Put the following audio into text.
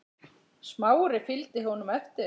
Smári fylgdi honum eftir.